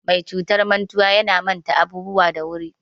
Mai cutar mantuwa yana mata abubuwa da wuri.